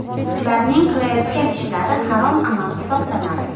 Ularning qilayotgan ishlari harom amal hisoblanadi.